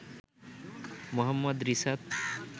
Mohammad Risat